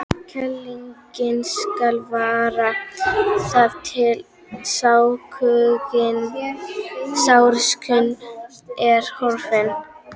Kælingin skal vara þar til sársaukinn er horfinn.